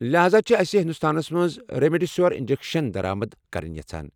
لہاذا چھِ اَسہِ ہندوستانس منٛز ریمڈیسویر انجیکشن درآمد کرٕنۍ یژھان۔